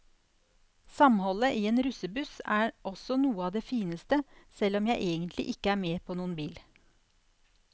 Samholdet i en russebuss er også noe av det fineste, selv om jeg egentlig ikke er med på noen bil.